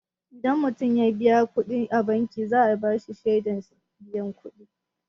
Idan mutum ya biya kuɗi a banki, za'a bashi shaidar biyan kudi.